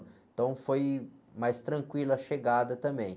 Então, foi mais tranquila a chegada também.